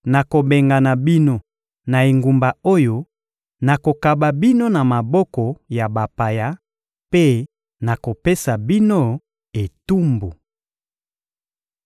nakobengana bino na engumba oyo, nakokaba bino na maboko ya bapaya mpe nakopesa bino etumbu.